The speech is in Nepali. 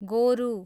गोरु